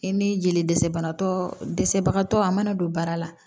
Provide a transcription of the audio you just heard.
I ni jeli dɛsɛbagatɔsɛbagatɔ a mana don baara la